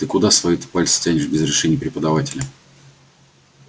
ты куда свои пальцы-то тянешь без разрешения преподавателя